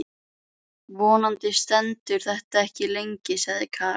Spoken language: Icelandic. Vonandi stendur þetta ekki lengi, sagði Karen.